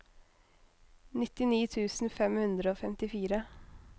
nittini tusen fem hundre og femtifire